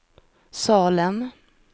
Salem